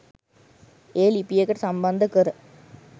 එය ලිපියකට සම්බන්ධ කර